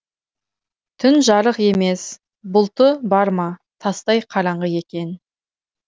түн жарық емес бұлты бар ма тастай қараңғы екен